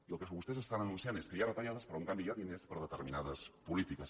i el que vostès estan anunciant és que hi ha retallades però en canvi hi ha diners per a determinades polítiques